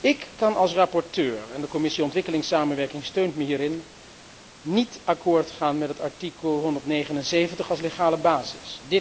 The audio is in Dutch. Ik kan als rapporteur en de Commissie ontwikkelingssamenwerking steunt mij hierin niet akkoord gaan met het artikel 179 als wettelijke basis.